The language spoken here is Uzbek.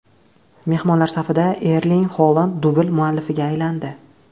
Mehmonlar safida Erling Holand dubl muallifiga aylandi.